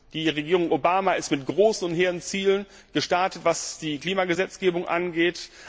Die Regierung Obama ist mit großen und hehren Zielen gestartet, was die Klimagesetzgebung angeht.